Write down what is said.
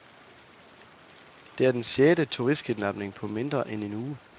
Det er den sjette turistkidnapning på mindre end en uge.